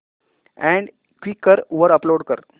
add Quikr वर upload कर